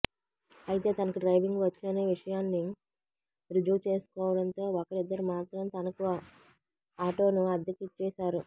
అయితే తనకు డ్రైవింగ్ వచ్చనే విషయాన్ని రుజువుచేసుకోవడంతో ఒకరిద్దరు మాత్రం తనకు అటోను అద్దెకు ఇచ్చేవారు